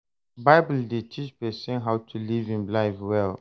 Bible dey teach pesin how to live im life well.